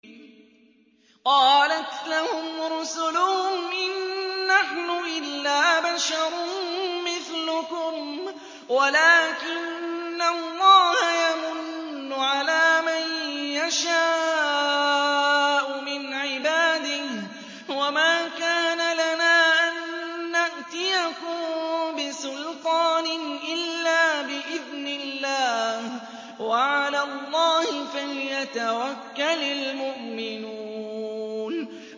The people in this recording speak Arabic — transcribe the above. قَالَتْ لَهُمْ رُسُلُهُمْ إِن نَّحْنُ إِلَّا بَشَرٌ مِّثْلُكُمْ وَلَٰكِنَّ اللَّهَ يَمُنُّ عَلَىٰ مَن يَشَاءُ مِنْ عِبَادِهِ ۖ وَمَا كَانَ لَنَا أَن نَّأْتِيَكُم بِسُلْطَانٍ إِلَّا بِإِذْنِ اللَّهِ ۚ وَعَلَى اللَّهِ فَلْيَتَوَكَّلِ الْمُؤْمِنُونَ